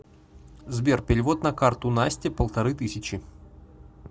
сбер перевод на карту насте полторы тысячи